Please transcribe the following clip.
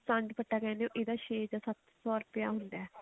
ਪਾਨ ਪੱਤਾ ਕਹਿੰਦੇ ਹੋ ਇਹਦਾ ਰੇਟ ਛੇ ਜਾਂ ਸੱਤ ਸੋ ਰੂਪਏ ਹੁੰਦਾ